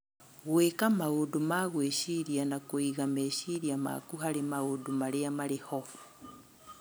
Gwĩka maũndũ ma gwĩciria na kũiga meciria maku harĩ maũndũ marĩa marĩ ho